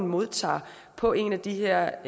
modtager på en af de her